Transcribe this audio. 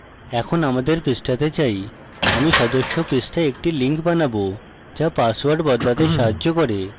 এখন আমাদের পৃষ্ঠাতে যাই আমি সদস্য পৃষ্ঠায় একটি link বানাবো যা পাসওয়ার্ড বদলাতে সাহায্য করবে